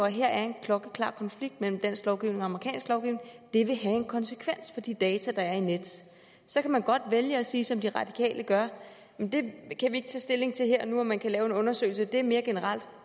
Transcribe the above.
at her er en klokkeklar konflikt mellem dansk lovgivning og amerikansk lovgivning det vil have en konsekvens for de data der er i nets så man godt vælge at sige som de radikale gør jamen vi kan ikke tage stilling til her og nu om man kan lave en undersøgelse det er mere generelt